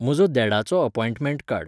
म्हजो देडाचो अपॉइंटमेंट काड